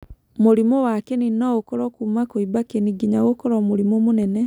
Mũrimũ wa kĩni no ũkorũo Kuuma kũimba kĩni nginya gũkorũo mũrimũ mũnene.